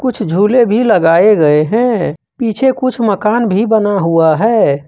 कुछ झूले भी लगाए गए हैं पीछे कुछ मकान भी बना हुआ है।